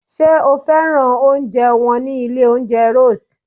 Sé o fẹ́ràn oúnjẹ wọn ní ilé oúnjẹ Rose?